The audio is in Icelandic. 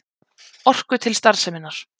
Orku til starfseminnar.